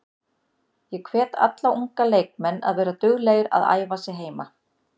Ég hvet alla unga leikmenn að vera duglegir að æfa sig heima.